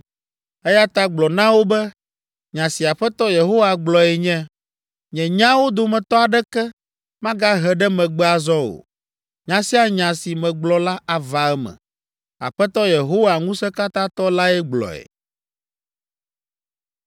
“Eya ta gblɔ na wo be, Nya si Aƒetɔ Yehowa gblɔe nye, ‘Nye nyawo dometɔ aɖeke magahe ɖe megbe azɔ o. Nya sia nya si megblɔ la ava eme.’ Aƒetɔ Yehowa Ŋusẽkatãtɔ lae gblɔe.”